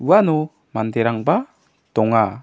uano manderangba donga.